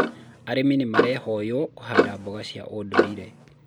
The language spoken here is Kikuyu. arĩmi nĩmarehoywo kũhanda mboga cia ũndũire